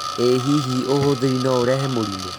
ĩ hihi ũhuthĩri no ũrehe mũrimũ?